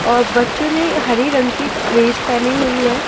और बच्चों ने हरे रंग की एक ड्रेस पहनी हुई है।